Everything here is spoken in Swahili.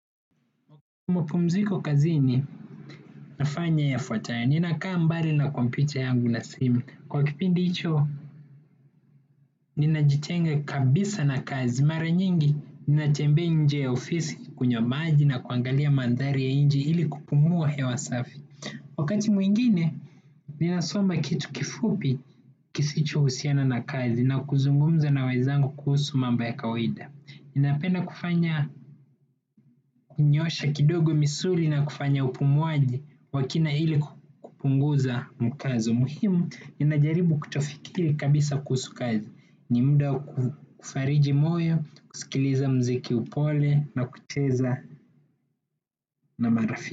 Mapumziko kazini nafanya yafuatayo. Ninakaa mbali na kompyuta yangu na simu. Kwa kipindi hicho, ninajitenga kabisa na kazi. Mara nyingi ninatembea nje ya ofisi kunywa maji na kuangalia mandhari ya nje ili kupumua hewa safi. Wakati mwingine, ninasoma kitu kifupi kisichohusiana na kazi na kuzungumza na wenzangu kuhusu mambo ya kawaida. Ninapenda kufanya kunyoosha kidogo misuli na kufanya upumuaji wa kina ili kupunguza mkazo. Muhimu, ninajaribu kutofikiri kabisa kuhusu kazi. Ni muda kufariji moyo, kusikiliza muziki upole na kucheza na marafiki.